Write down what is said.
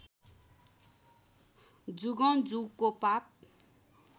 जुगौँ जुगको पाप